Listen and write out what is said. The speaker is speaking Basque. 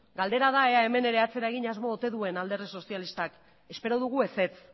galdera da ea ere hemen atzera egin asmo ote duen alderdi sozialistak espero dugu ezetz